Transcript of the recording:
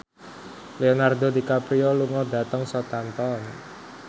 Leonardo DiCaprio lunga dhateng Southampton